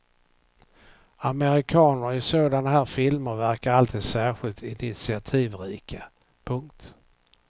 Amerikaner i sådana här filmer verkar alltid särskilt initiativrika. punkt